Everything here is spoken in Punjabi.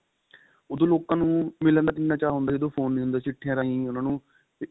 ਉਹਦੋ ਲੋਕਾ ਨੂੰ ਮਿਲਣ ਦਾ ਕਿੰਨਾ ਚਾਹ ਹੁੰਦਾ ਸੀ ਜਦੋ phone ਨੀਂ ਹੁੰਦੇ ਸੀ ਚਿੱਠੀਆਂ ਰਹੀ ਉੰਨਾ ਨੂੰ